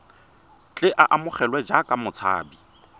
tle a amogelwe jaaka motshabi